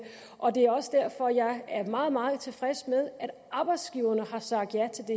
og det er også derfor jeg er meget meget tilfreds med at arbejdsgiverne har sagt ja til det